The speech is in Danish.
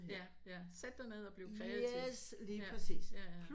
Ja ja sæt dig ned og bliv kreativ ja ja ja